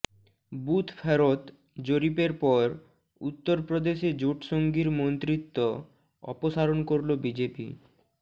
booth ফেরত জরিপের পর উত্তর প্রদেশে জোটসঙ্গীর মন্ত্রিত্ব অপসারণ করলো বিজেপি